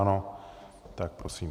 Ano, tak prosím.